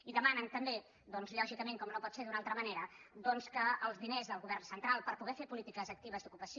i demanen també doncs lògicament com no pot ser d’una altra manera que els diners del govern central per poder fer polítiques actives d’ocupació